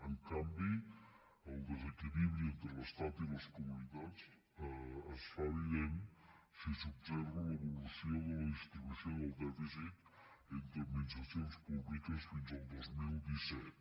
en canvi el desequilibri entre l’estat i les comunitats es fa evident si s’observa l’evolució de la distribució del dèficit entre administracions públiques fins al dos mil disset